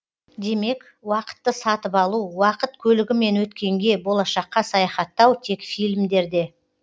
демек уақытты сатып алу уақыт көлігімен өткенге болашаққа саяхаттау тек фильмдерде